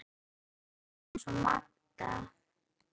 Ég gerði allt eins og Magda.